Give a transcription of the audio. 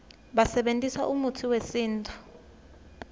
basebentisa umutsi wesintfu